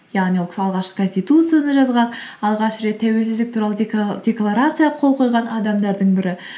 яғни ол кісі алғашқы конституцияны жазған алғаш рет тәуелсіздік туралы декларацияға қол қойған адамдардың бірі